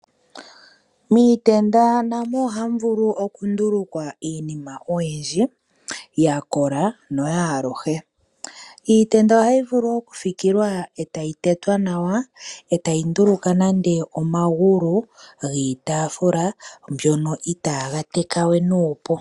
Miitenda namo ohamu vulu okundulukwa iinima oyindji, ya kola yo oyaaluhe. Iitenda ohayi vulu okuthikilwa eta yi tetwa nawa, eta yi nduluka po nando omagulu giitaafula ngono itaga teka we nuupu.